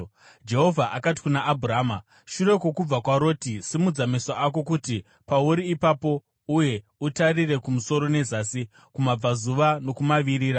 Jehovha akati kuna Abhurama shure kwokubva kwaRoti, “Simudza meso ako uri pauri ipapo uye utarire kumusoro nezasi, kumabvazuva nokumavirira.